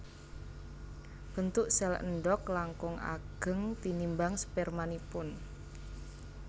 Bentuk sèl endhog langkung ageng tinimbang spermanipun